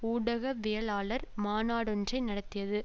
ஊடகவியலாளர் மாநாடொன்றை நடத்தியது